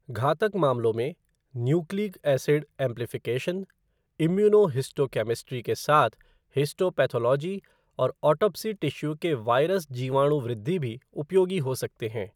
घातक मामलों में, न्यूक्लिक एसिड एम्प्लीफ़िकेशन, इम्यूनोहिस्टोकेमिस्ट्री के साथ हिस्टोपैथोलॉजी और ऑटोप्सी टिश्यू के वायरस जीवाणु वृद्धि भी उपयोगी हो सकते हैं।